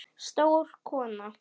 Stór kona.